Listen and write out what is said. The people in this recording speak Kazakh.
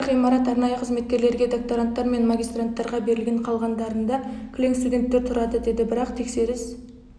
бір ғимарат арнайы қызметкерлерге докторанттар мен магистранттарға берілген қалғандарында кілең студенттер тұрады деді бірақ тексеріс